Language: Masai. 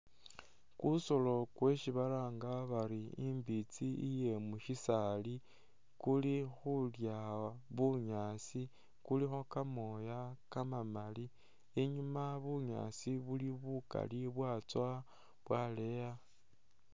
Kusoolo kwesi balanga bari imbitsi iye mushisaali, kuli khulya bunyaasi, kulikho kamooya kamamaali, inyuma bunyaasi buli bukaali, bwatsowa bwaleya